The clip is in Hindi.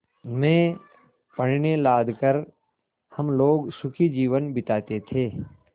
में पण्य लाद कर हम लोग सुखी जीवन बिताते थे